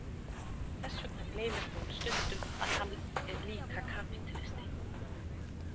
Þess vegna gleymir hún stundum að hann er líka kapítalisti.